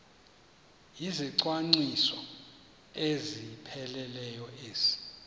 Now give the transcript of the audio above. izicwangciso ezipheleleyo ezi